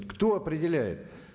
кто определяет